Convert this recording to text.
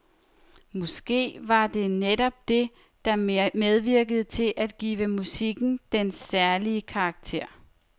Måske var det netop det, der medvirkede til at give musikken dens særlige karakter.